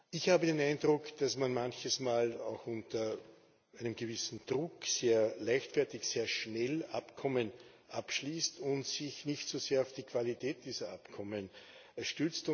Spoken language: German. Ich habe den Eindruck, dass man manches Mal auch unter einem gewissen Druck sehr leichtfertig und schnell Abkommen abschließt und sich nicht so sehr auf die Qualität dieser Abkommen konzentriert.